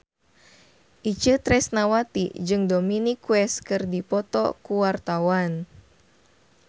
Itje Tresnawati jeung Dominic West keur dipoto ku wartawan